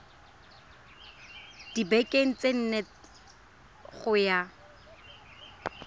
dibekeng tse nne go ya